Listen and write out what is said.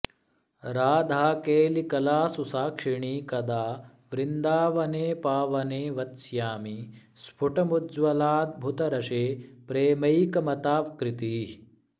राधाकेलिकलासु साक्षिणि कदा वृन्दावने पावने वत्स्यामि स्फुटमुज्ज्वलाद्भुतरसे प्रेमैकमत्ताकृतिः